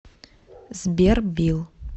сбер билл